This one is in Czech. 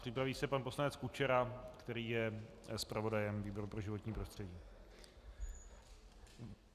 Připraví se pan poslanec Kučera, který je zpravodajem výboru pro životní prostředí.